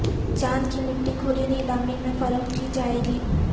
چاند کی مٹی کھلی نیلامی میں فروخت کی جائے گی